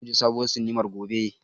Za mu je sabuwar sinimar gobe.